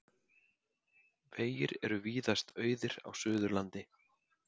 Vegir eru víðast auðir á Suðurlandi